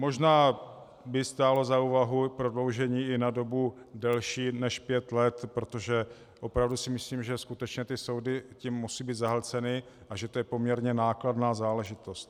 Možná by stálo za úvahu prodloužení i na dobu delší než pět let, protože opravdu si myslím, že skutečně ty soudy tím musí být zahlceny a že to je poměrně nákladná záležitost.